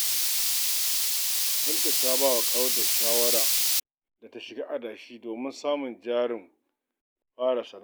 Binta ta ba wa ƙawarta shawara da ta shiga adashi domin samun jarin fara sana’a.